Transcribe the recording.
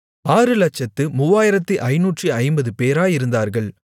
603550 பேராயிருந்தார்கள்